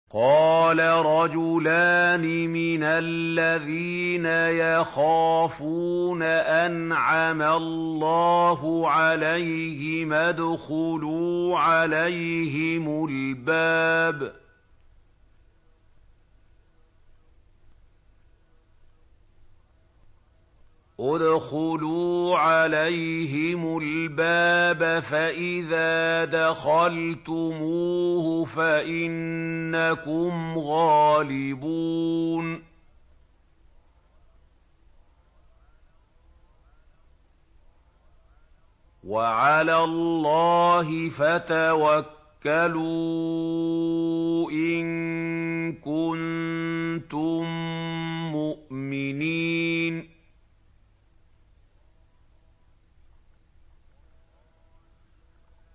قَالَ رَجُلَانِ مِنَ الَّذِينَ يَخَافُونَ أَنْعَمَ اللَّهُ عَلَيْهِمَا ادْخُلُوا عَلَيْهِمُ الْبَابَ فَإِذَا دَخَلْتُمُوهُ فَإِنَّكُمْ غَالِبُونَ ۚ وَعَلَى اللَّهِ فَتَوَكَّلُوا إِن كُنتُم مُّؤْمِنِينَ